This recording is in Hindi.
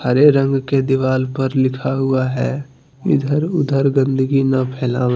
हरे रंग के दीवाल पर लिखा हुआ है इधर उधर गंदगी न फैलावे।